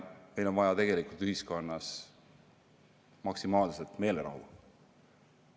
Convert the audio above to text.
Meil on vaja tegelikult ühiskonnas maksimaalselt meelerahu.